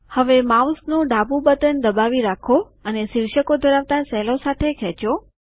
હવે માઉસનું ડાબું બટન દબાવી રાખો અને શિર્ષકો ધરાવતા સેલો સાથે ખેંચો